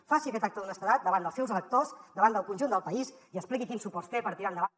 faci aquest acte d’honestedat davant dels seus electors davant del conjunt del país i expliqui quins suports té per tirar endavant